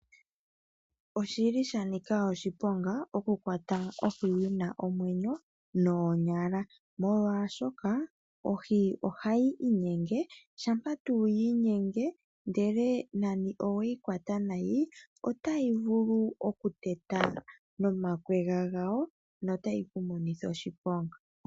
Oshili sha nika oshiponga, oku kwata ohi yina omwenyo noonyala, molwaashoka ohi ohayi inyenge, shampa tu yi inyenge ndele nani oweyi kwata nayi, otayi vulu oku kuteta nomakwega gayo, notayi ku monitha oshiponga.